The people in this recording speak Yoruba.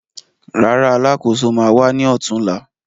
Rárá, Alákóso ma wá ní ọ̀túnla